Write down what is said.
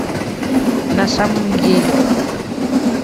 на самом деле